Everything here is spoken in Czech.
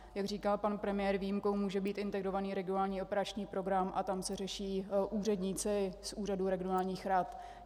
Jak říkal pan premiér, výjimkou může být Integrovaný regionální operační program a tam se řeší úředníci z úřadů regionálních rad.